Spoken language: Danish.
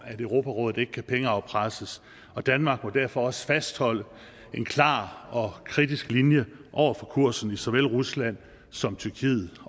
at europarådet ikke kan pengeafpresses danmark må derfor også fastholde en klar og kritisk linje over for kursen i såvel rusland som tyrkiet